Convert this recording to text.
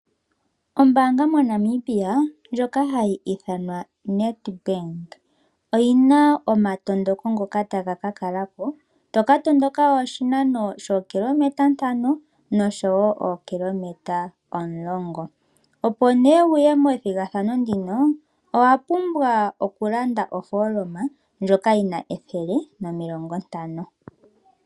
Ombaanga moNamibia ndjoka hayi ithanwa Nedbank oyina omatondoko ngoka taga ka kalako, to katondoka oshinano shookilometa ntano nosho wo ookilometa omulongo. Opo nee wuye methigathano ndino owapumbwa okulanda ofooloma ndjoka yina ethele nomilongo ntano.